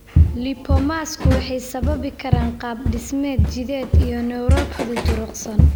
Lipomas-ku waxay sababi karaan qaab-dhismeed jidheed iyo neuropathy durugsan.